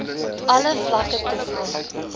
alle vlakke toegang